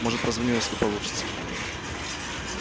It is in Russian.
может позвоню если получится